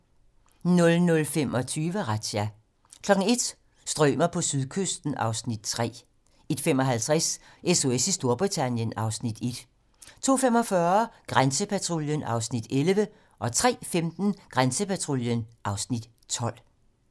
00:25: Razzia 01:00: Strømer på sydkysten (Afs. 3) 01:55: SOS i Storbritannien (Afs. 1) 02:45: Grænsepatruljen (Afs. 11) 03:15: Grænsepatruljen (Afs. 12)